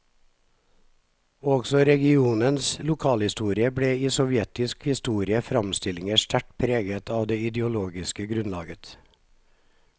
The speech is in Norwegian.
Også regionens lokalhistorie ble i sovjetiske historiske framstillinger sterkt preget av det ideologiske grunnlaget.